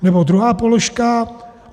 Nebo druhá položka.